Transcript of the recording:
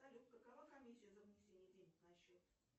салют какова комиссия за внесение денег на счет